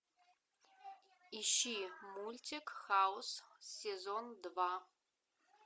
ищи мультик хаус сезон два